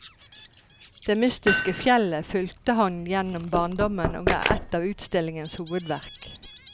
Det mystiske fjellet fulgte ham gjennom barndommen og er ett av utstillingens hovedverk.